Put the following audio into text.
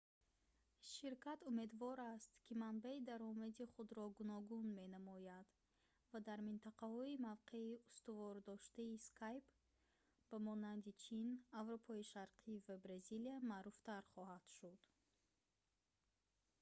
ширкат умедвор аст ки манбаи даромади худро гуногун менамояд ва дар минтақаҳои мавқеи устувордоштаи skype ба монанди чин аврупои шарқӣ ва бразилия маъруфтар хоҳад шуд